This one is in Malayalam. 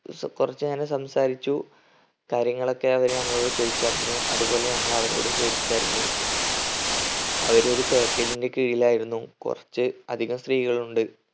കുറച്ച് നേരം സംസാരിച്ചു കാര്യങ്ങളൊക്കെ അവർ ഞങ്ങളോട് ചോദിച്ചറിഞ്ഞു അത്പോലെ ഞങ്ങൾ അവരോടും ചോദിച്ചറിഞ്ഞു അവർ ഒരു package ന്റെ കീഴിലായിരുന്നു കൊറച്ച് അധികം സ്ത്രീകളുണ്ട്.